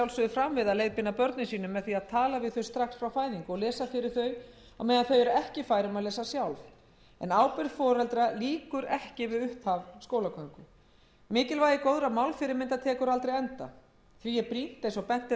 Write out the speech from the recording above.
fram við að leiðbeina börnum sínum með því að tala við þau strax frá fæðingu og lesa fyrir þau á meðan þau eru ekki fær um að lesa sjálf en ábyrgð foreldra lýkur ekki við upphaf skólagöngu mikilvægi góðra málfyrirmynda tekur aldrei enda því er brýnt eins og bent